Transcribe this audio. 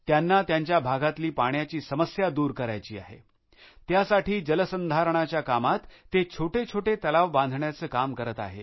त्यांना त्यांच्या भागातली पाण्याची समस्या दूर करायची आहे त्यासाठी जलसंधारणाच्या कामात ते छोटेछोटे तलाव बांधण्याचे काम करत आहेत